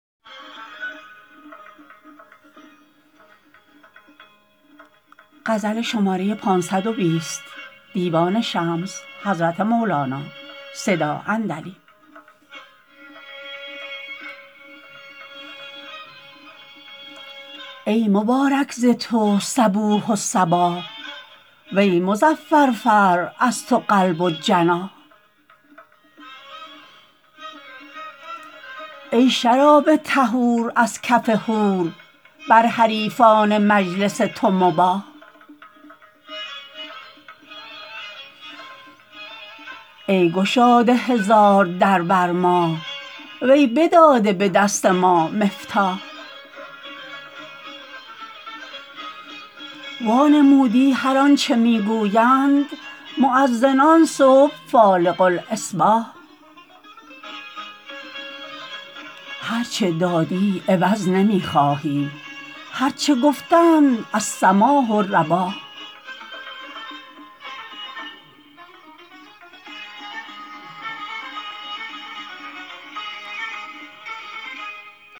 ای مبارک ز تو صبوح و صباح ای مظفر فر از تو قلب و جناح ای شراب طهور از کف حور بر حریفان مجلس تو مباح ای گشاده هزار در بر ما وی بداده به دست ما مفتاح وانمودی هر آنچ می گویند مؤذنان صبح فالق الاصباح هرچ دادی عوض نمی خواهی گرچه گفتند السماح رباح